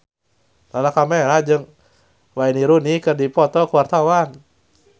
Lala Karmela jeung Wayne Rooney keur dipoto ku wartawan